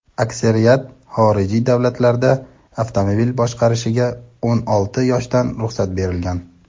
Aksariyat xorijiy davlatlarda avtomobil boshqarishga o‘n olti yoshdan ruxsat berilgan.